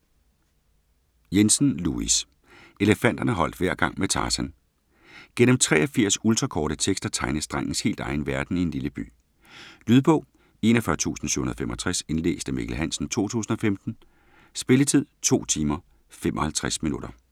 Jensen, Louis: Elefanterne holdt hver gang med Tarzan Gennem 83 ultrakorte tekster tegnes drengens helt egen verden i en lille by. Lydbog 41765 Indlæst af Mikkel Hansen, 2015. Spilletid: 2 timer, 55 minutter.